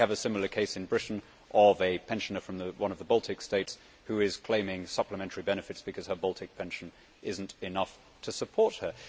We have a similar case in Britain a pensioner from one of the Baltic States who is claiming supplementary benefits because her Baltic pension is not enough to support her.